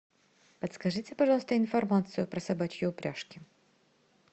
подскажите пожалуйста информацию про собачьи упряжки